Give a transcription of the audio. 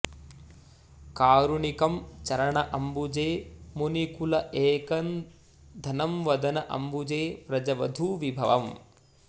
कारुणिकम् चरण अम्बुजे मुनि कुल एक धनम्वदन अम्बुजे व्रज वधू विभवम्